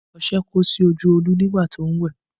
Ọṣẹ kó sí Olú lójú nígbà tí ó ń wẹ̀